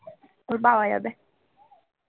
ওর বাবা যাবে